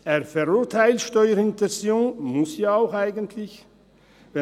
Er verurteilt Steuerhinterziehung – muss das ja eigentlich auch.